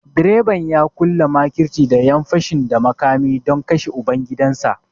Direban ya ƙulla makirci da ƴan fashin da makami don kashe ubangidansa